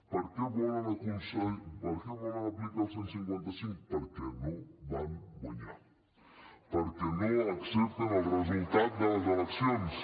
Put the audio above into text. per què volen aplicar el cent i cinquanta cinc perquè no van guanyar perquè no accepten el resultat de les eleccions